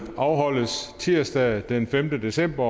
afholdes tirsdag den femte december